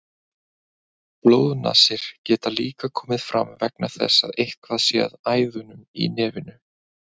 Blóðnasir geta líka komið fram vegna þess að eitthvað sé að æðunum í nefinu.